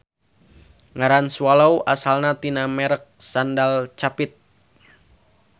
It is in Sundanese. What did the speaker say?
Ngaran swallow asalna tina merek sendal capit.